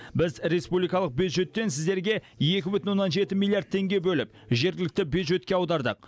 біз республикалық бюджеттен сіздерге екі бүтін оннан жеті миллиард теңге бөліп жергілікті бюджетке аудардық